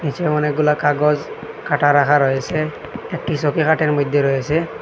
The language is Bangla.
নীচে অনেকগুলা কাগজ কাটা রাখা রয়েসে একটি মধ্যে রয়েসে ।